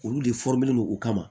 Olu de don u kama